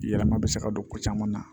Yɛlɛma bɛ se ka don ko caman na